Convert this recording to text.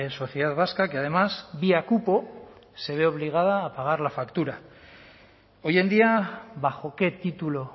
sociedad vasca que además vía cupo se ve obligada a pagar la factura hoy en día bajo qué título